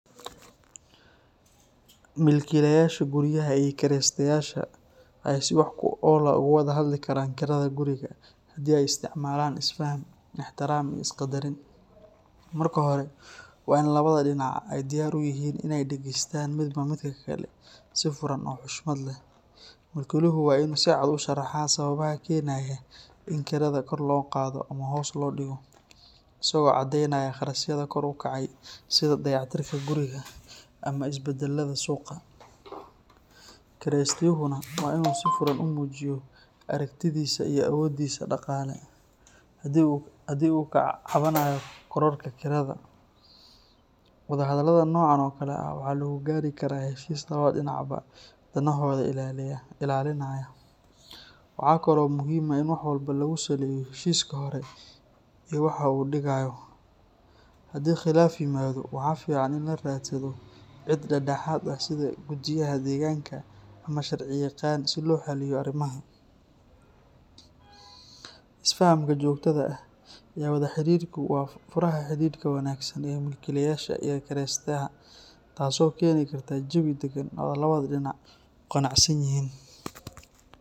Milkiilayaasha guryaha iyo kireystayaasha waxay si wax ku ool ah uga wada hadli karaan kirada guriga haddii ay isticmaalaan isfaham, ixtiraam iyo isqaddarin. Marka hore, waa in labada dhinac ay diyaar u yihiin inay dhegaystaan midba midka kale si furan oo xushmad leh. Milkiiluhu waa inuu si cad u sharaxaa sababaha keenaya in kirada kor loo qaado ama hoos loo dhigo, isagoo caddeynaya kharashyada kor u kacay sida dayactirka guriga ama isbeddelada suuqa. Kireystuhuna waa inuu si furan u muujiyo aragtidiisa iyo awooddiisa dhaqaale, haddii uu ka cabanayo kororka kirada. Wadahadallada noocan oo kale ah waxaa lagu gaari karaa heshiis labada dhinacba danahooda ilaalinaya. Waxa kale oo muhiim ah in wax walba lagu saleeyo heshiiska hore iyo waxa uu dhigayo. Haddii khilaaf yimaado, waxaa fiican in la raadsado cid dhexdhexaad ah sida guddiyada deegaanka ama sharciyaqaan si loo xalliyo arrimaha. Isfahamka joogtada ah iyo wada xiriirku waa furaha xidhiidhka wanaagsan ee milkiilaha iyo kireystaha, taasoo keeni karta jawi deggan oo labada dhinac ku qanacsan yihiin.